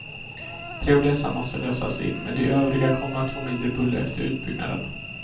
Tre av dessa måste lösas in, men de övriga kommer att få mindre buller efter utbyggnaden.